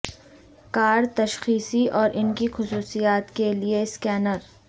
کار تشخیصی اور ان کی خصوصیات کے لئے سکینر